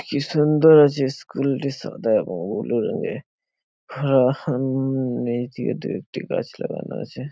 কি সুন্দর আছে স্কুল -টি সাদা এবং ব্লু রঙে। হা-আ-উম একটি গাছ লাগানো আছে।